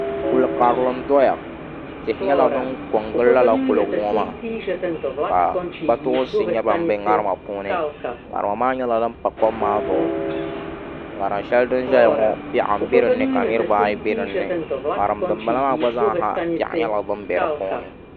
Kuli karili n doya tihi nyɛla din ko n gili lala kuligi ŋo maa ka kpatoonsi nyɛ bin bɛ ŋarima puuni ŋarima maa nyɛla din pa kom maa zuɣu ŋarim shɛli din ʒɛya ŋo piɛɣu n bɛ dinni ka niraba ayi bɛ dinni ŋarim din bala maa gba zaa ha piɛɣu nyɛla din bɛ di puuni